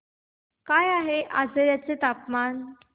काय आहे आजर्याचे तापमान